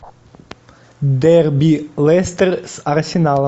дерби лестер с арсеналом